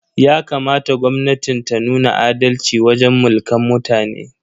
Yakamata gwamnatin ta nuna adalci wajen Mulkan mutane.